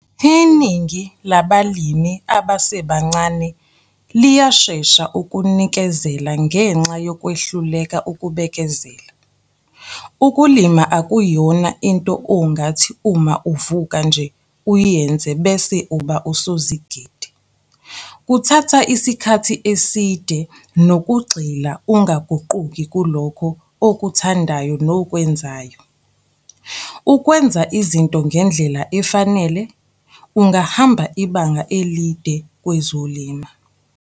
Iningi labalimi abasebancane liyashesha ukunikezela ngenxa yokwehluleka ukubekezela. Ukulima akuyona into ongathi uma uvuka nje uyenze bese uba usozigidi. Kuthatha isikhathi eside nokugxila ungaguquki kulokho okuthandayo nokwenzayo. Ukwenza izinto ngendlela efanele, ungahamba ibanga elide kwezolima.